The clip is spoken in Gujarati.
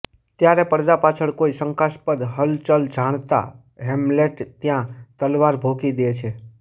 ત્યારે પડદા પાછળ કોઈ શંકાસ્પદ હલચલ જાણતા હેમ્લેટ ત્યાં તલવાર ભોકી દે છે